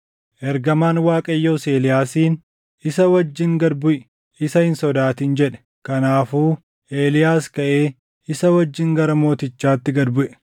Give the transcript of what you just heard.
Ergamaan Waaqayyoos Eeliyaasiin, “Isa wajjin gad buʼi; isa hin sodaatin” jedhe. Kanaafuu Eeliyaas kaʼee isa wajjin gara mootichaatti gad buʼe.